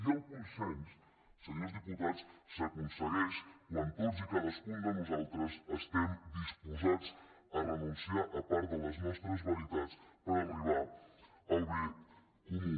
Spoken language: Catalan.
i el consens senyors diputats s’aconsegueix quan tots i cadascun de nosaltres estem disposats a renunciar a part de les nostres veritats per arribar al bé comú